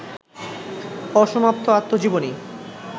অসমাপ্ত আত্মজীবনী